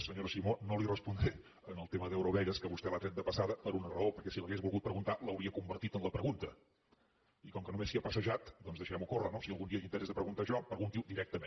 senyora simó no li respondré en el tema d’eurovegas que vostè l’ha tret de passada per una raó perquè si l’hagués volgut preguntar l’hauria convertit en la pregunta i com que només s’hi ha passejat doncs deixem ho córrer no si algun dia té interès a preguntar això pregunti ho directament